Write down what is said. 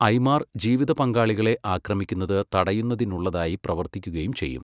ഐമാര് ജീവിതപങ്കാളികളെ ആക്രമിക്കുന്നത് തടയുന്നതിനുള്ളതായി പ്രവര്ത്തിക്കുകയും ചെയ്യും.